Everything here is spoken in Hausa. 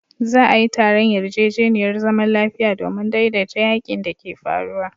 Za'a yi taron yarjejeniyar zaman lafiya domin daidaita yakin da ke faruwa.